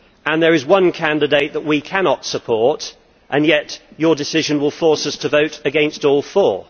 There is one candidate that we cannot support and yet your decision will force us to vote against all four.